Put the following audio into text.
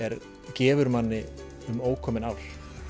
gefur manni um ókomin ár